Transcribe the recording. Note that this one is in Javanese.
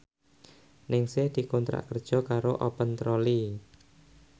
Ningsih dikontrak kerja karo Open Trolley